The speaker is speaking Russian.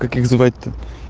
как звать-то